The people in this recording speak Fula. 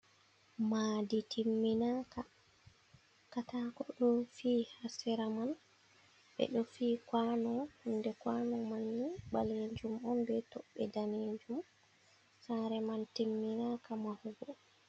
Madi timminaka: katako ɗo fi ha sera man, ɓeɗo fii kwano, nonde kwano mai ni ɓalejum on be toɓɓe danejum. Sare man timminaka mahugo.